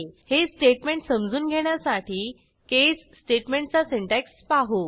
हे स्टेटमेंट समजून घेण्यासाठी केस स्टेटमेंटचा सिंटॅक्स पाहू